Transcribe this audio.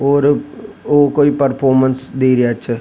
और ओ कोई परफॉरमेंस दे रिया छ।